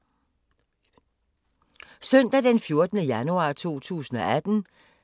Søndag d. 14. januar 2018